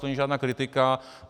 To není žádná kritika.